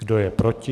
Kdo je proti?